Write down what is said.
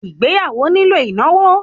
Ìgbéyàwó nílò ìnáwó